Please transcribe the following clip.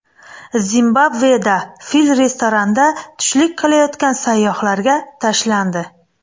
Zimbabveda fil restoranda tushlik qilayotgan sayyohlarga tashlandi.